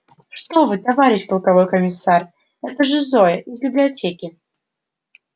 что вы товарищ полковой комиссар это же зоя из библиотеки